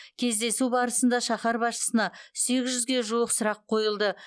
кездесу барысында шаһар басшысына сегіз жүзге жуық сұрақ қойылды